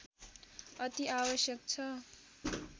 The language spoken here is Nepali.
अति आवश्यक छ